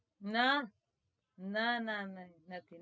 ના નાં નાં નથી